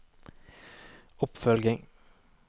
oppfølging